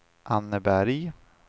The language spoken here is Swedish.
Anneberg